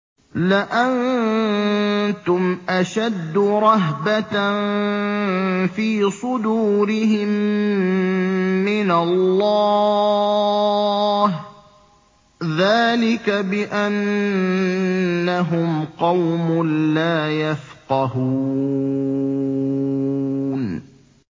لَأَنتُمْ أَشَدُّ رَهْبَةً فِي صُدُورِهِم مِّنَ اللَّهِ ۚ ذَٰلِكَ بِأَنَّهُمْ قَوْمٌ لَّا يَفْقَهُونَ